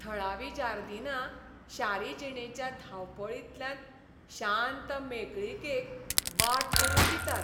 थळावीं जार्दीनां शारी जिणेच्या धांवपळींतल्यान शांत मेकळीकेक वाट करून दितात.